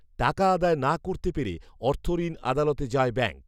টাকা আদায় না করতে পেরে অর্থঋণ আদালতে যায় ব্যাঙ্ক